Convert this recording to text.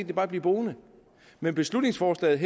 de bare blive boende med beslutningsforslaget